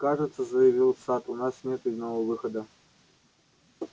кажется заявил сатт у нас нет иного выхода